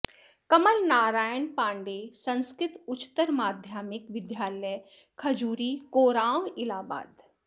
कमल नारायण पाण्डेय संस्कृत उच्चतर माध्यमिक विद्यालय खजुरी कोरांव इलाहाबाद